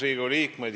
Riigikogu liikmed!